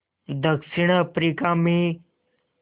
दक्षिण अफ्रीका में